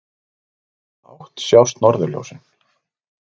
Í hvaða átt sjást norðurljósin?